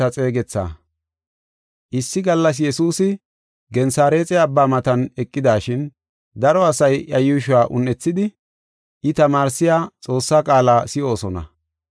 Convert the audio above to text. Issi gallas Yesuusi Gensareexe Abbaa matan eqidashin daro asay iya yuushuwa un7ethidi, I tamaarsiya Xoossaa qaala si7oosona.